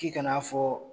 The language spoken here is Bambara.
K'i kana fɔ